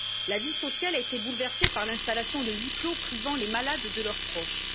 La vie sociale a été bouleversée par l'installation de huis clos, privant les malades de leurs proches.